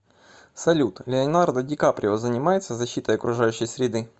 салют леонардо ди каприо занимается защитой окружающей среды